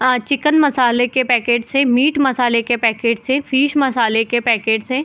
अ chicken मसाले के packets है मीट मसाले के पैकेट्स है फिश मसाले के पैकेट्स है।